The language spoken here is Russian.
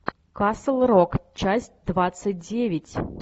касл рок часть двадцать девять